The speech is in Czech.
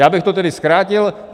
Já bych to tedy zkrátil.